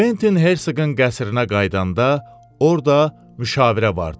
Kventin Hersoğun qəsrinə qayıdanda orda müşavirə vardı.